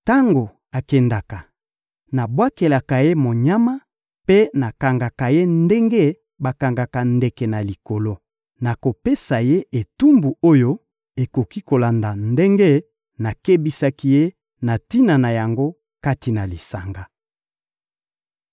Tango akendaka, nabwakelaka ye monyama mpe nakangaka ye ndenge bakangaka ndeke na likolo. Nakopesa ye etumbu oyo ekoki kolanda ndenge nakebisaki ye na tina na yango kati na lisanga.